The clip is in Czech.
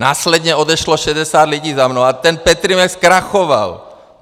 Následně odešlo 60 lidí za mnou a ten Petrimex zkrachoval.